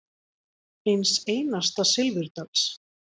Eins einasta silfurdals.